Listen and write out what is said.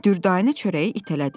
Dürdanə çörəyi itələdi.